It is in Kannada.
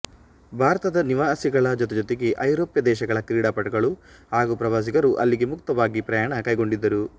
ಭಾರತದ ನಿವಾಸಿಗಳ ಜೊತೆಜೊತೆಗೆ ಐರೋಪ್ಯ ದೇಶಗಳ ಕ್ರೀಡಾಪಟುಗಳು ಹಾಗೂ ಪ್ರವಾಸಿಗರು ಅಲ್ಲಿಗೆ ಮುಕ್ತವಾಗಿ ಪ್ರಯಾಣ ಕೈಗೊಂಡಿದ್ದರು